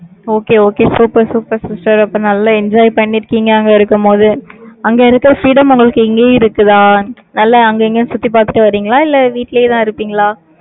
Okay okay super super sister அப்ப நல்லா enjoy பண்ணிருக்கீங்க, அங்க இருக்கும்போது. அங்க இருக்க freedom உங்களுக்கு எங்கயும் இருக்குதா? நல்லா அங்க இங்கன்னு சுத்தி பார்த்துட்டு வர்றீங்களா? இல்ல, வீட்டுலயேதான் இருப்பீங்களா?